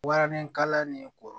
Waranikala nin ko